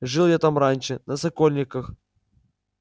жил я там раньше на сокольниках